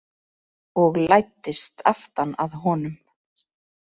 Og læddist aftan að honum.